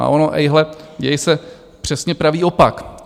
A ono - ejhle - děje se přesně pravý opak.